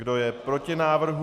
Kdo je proti návrhu?